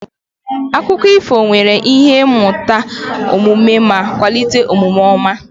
Akụkọ ifo nwere ihe mmụta omume ma kwalite omume ọma